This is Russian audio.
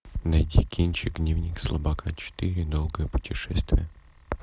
найти кинчик дневник слабака четыре долгое путешествие